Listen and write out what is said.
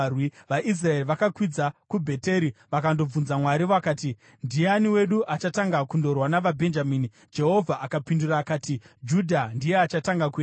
VaIsraeri vakakwidza kuBheteri vakandobvunza Mwari. Vakati, “Ndiani wedu achatanga kundorwa navaBhenjamini?” Jehovha akapindura akati, “Judha ndiye achatanga kuenda.”